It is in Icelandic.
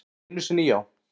Einu sinni já.